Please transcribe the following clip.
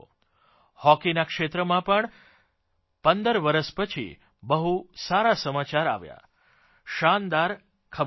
હોકીના ક્ષેત્રમાં પણ પંદર વરસ પછી બહુ સારા સમાચાર આવ્યા શાનદાર ખબર આપ્યાં